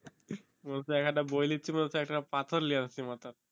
মনে হচ্ছে এক একটা বই নিচ্ছি মনে হচ্ছে পাথর লিয়ে আছি মাথায়